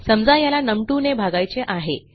समजा याला नम2 ने भागायचे आहे